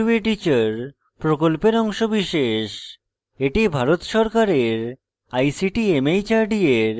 এটি ভারত সরকারের ict mhrd এর জাতীয় শিক্ষা mission দ্বারা সমর্থিত